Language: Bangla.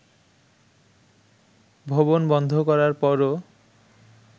ভবন বন্ধ করার পরও